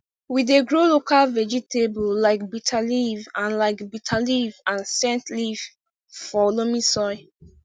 we dey grow local vegetable like bitterleaf and like bitterleaf and scentleaf for loamy soil